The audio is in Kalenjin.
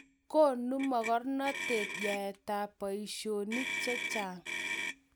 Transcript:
konu mokornatet yaetab boisionik che chang'